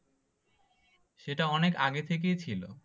সেটা অনেক আগে থেকেই ছিল।